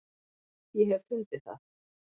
Ég hef fundið það!